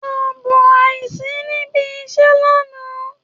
Ààbò àìsí níbi iṣẹ́ lánàá